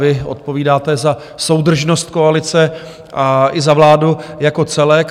Vy odpovídáte za soudržnost koalice a i za vládu jako celek.